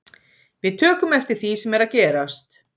Við tökum eftir því sem er að gerast.